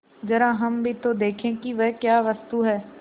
जरा हम भी तो देखें कि वह क्या वस्तु है